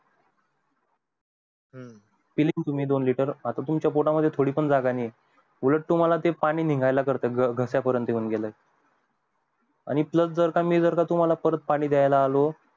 हम्म पिली दोन लिटर आता तुमच्या पोटा मध्ये थोडी पण जागा नाहीये उलट तुम्हला ते पाणी निगयला करत घाश्या पर्यंत येऊन गेल्यावर आणि plus जर का मी तुम्हला परत पाणी दयाला आलो